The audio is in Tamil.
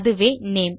அதுவேname